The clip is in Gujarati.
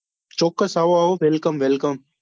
ચોક્કસ આવો આવો welcome welcome